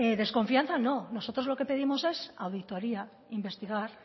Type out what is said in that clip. desconfianza no nosotros lo que pedimos es auditoría investigar